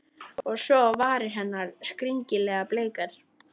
Og svo á varir hennar, skringilega bleikar.